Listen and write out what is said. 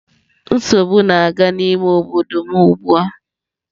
Nsogbu na-aga n'ime obodo m ugbu a.